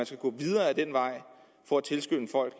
skal gå videre ad den vej for at tilskynde folk